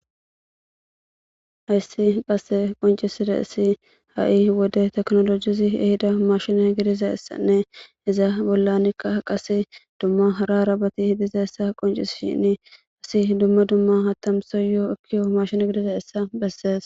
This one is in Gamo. Hayssi qassi qoncissidayssi ha'i woaey ehidda mashinne gidishin izza bolla bolla qassi hara hara bay dizzayssa besses izzi dumma dumma mashinne gidizzayssa besses.